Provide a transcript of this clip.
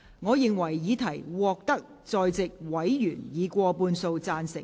我認為議題獲得在席委員以過半數贊成。